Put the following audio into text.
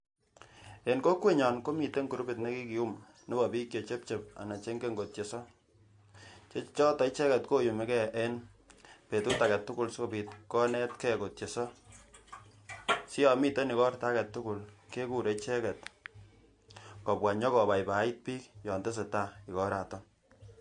En kokwenyon komiten kurubit nekikiyum nebo bik chechepchep anan che ingen kotyeso ne choton koyumi gee en betu agetukul sikobit konet gee kotyeso, si yon miten igorto agetukul kekure icheket kobwa nyo kobaibait bik yon tesetai igoraton.